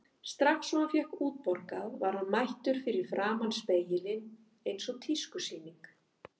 Strax og hann fékk útborgað var hann mættur fyrir framan spegilinn eins og tískusýning.